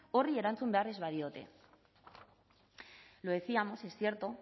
horri erantzun behar ez badiote lo decíamos es cierto